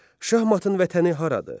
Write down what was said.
Şahmatın vətəni haradır?